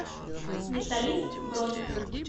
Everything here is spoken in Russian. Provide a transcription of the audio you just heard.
металлист бронь